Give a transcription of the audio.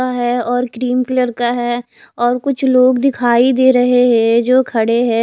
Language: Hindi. का है और क्रीम कलर का है और कुछ लोग दिखाई दे रहे है जो खडे है।